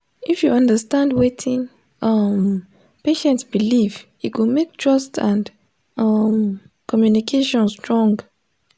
if you understand wetin um patient believe e go make trust and um communication strong.